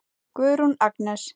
Guðrún Agnes.